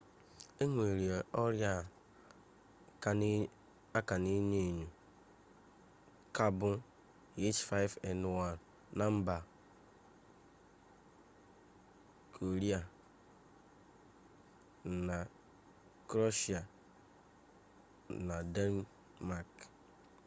enwere orịa a ka na-enyo enyo ka ọ bụ h5n1na mba kroeshia na denmak